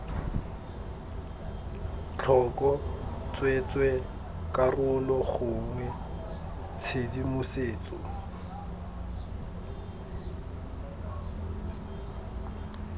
tlhoko tsweetswee karolo gongwe tshedimosetso